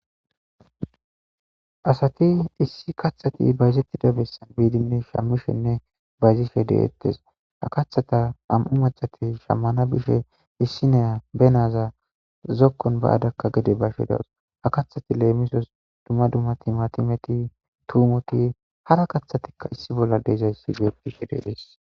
Asati issi kaththati bayzettida bessan biidinne shammishenne bayzishe deettes ha kathata am'u macati shammana bishe issineya benaza zokkon ba adakka gede bashe dawus ha kathati leemisos dumma dummati matimeti tuumoti hara kaththatikka issi bolla deezayssi geetishe deees.